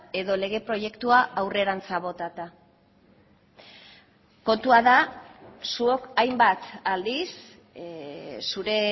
edo lege proiektua aurrerantz botata kontua da zuok hainbat aldiz zure